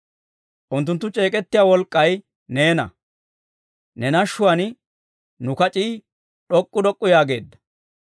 Unttunttu c'eek'ettiyaa wolk'k'ay neena; ne nashshuwaan nu kac'ii d'ok'k'u d'ok'k'u yaageedda.